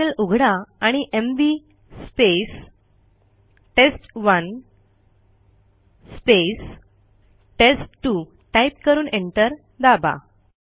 terminal उघडा आणि MV test one test two type करून एंटर दाबा